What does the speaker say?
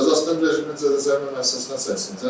Cəzasının müddəti cəzaçəkmə müəssisəsinə çəksin.